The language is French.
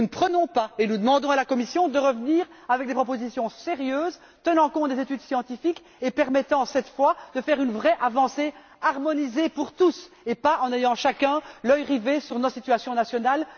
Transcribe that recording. Nous ne prenons pas, et nous demandons à la Commission de revenir avec des propositions sérieuses tenant compte des études scientifiques et permettant cette fois de faire une vraie avancée harmonisée pour tous et ce en n'ayant pas chacun l'œil rivé sur nos propres situations nationales.